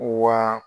Wa